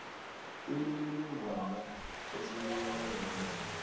imininingwana osinikela yona